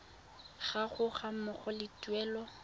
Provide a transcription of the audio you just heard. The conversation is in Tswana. gago ga mmogo le tuelo